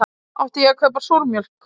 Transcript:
Átti ég að kaupa súrmjólk?